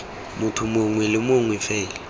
motho mongwe le mongwe fela